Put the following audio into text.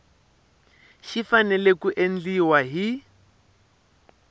xi fanele ku endliwa hi